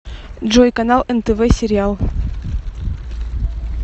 джой канал нтв сериал